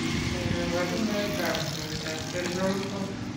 Nee kabarunoikab koroitoab Central Core ?